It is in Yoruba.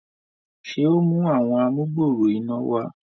ṣe o mú Àwọn amugbooro iná wá?